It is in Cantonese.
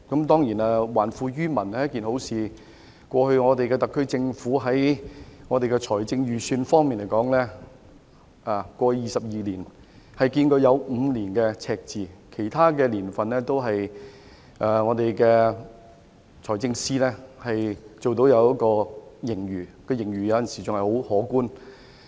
當然，還富於民是好事。特區政府在財政預算方面，在過去22年當中，只有5年出現赤字，而在其他財政年度，均有盈餘，有時很可觀。